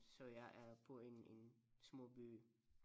Så jeg er på en en små by